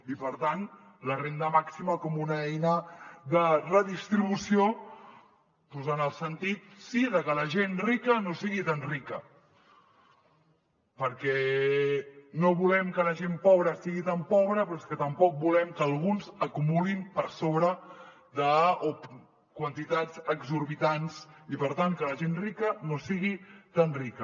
i per tant la renda màxima com una eina de redistribució doncs en el sentit sí de que la gent rica no sigui tan rica perquè no volem que la gent pobra sigui tan pobra però és que tampoc volem que alguns acumulin per sobre de quantitats exorbitants i per tant que la gent rica no sigui tan rica